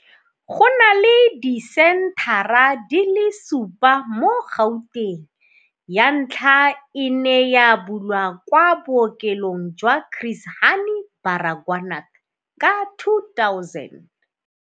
Go na le disenthara di le supa mo Gauteng. Ya ntlha e ne ya bulwa kwa Bookelong jwa Chris Hani Baragwanath ka 2000.